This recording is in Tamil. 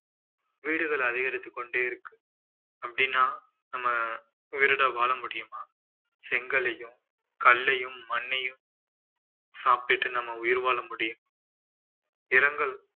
வீடுகள் அதிகரித்துக் கொண்டே இருக்கு அப்படின்னா நம்ம உயிரோடு வாழ முடியுமா செங்கல்லையும் கல்லையும் மண்ணையும் சாப்பிட்டு நம்ம உயிர் வாழ முடியும் இரங்கல்